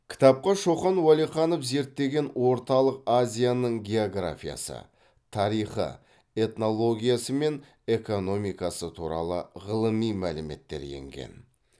кітапқа шоқан уәлиханов зерттеген орталық азияның географиясы тарихы этнологиясы мен экономикасы туралы ғылыми мәліметтер енген